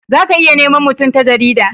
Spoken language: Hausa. za ka iya nema mutum ta jarida